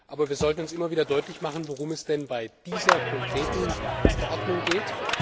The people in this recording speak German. Aber wir sollten uns immer wieder deutlich machen, worum es bei dieser konkreten Verordnung geht.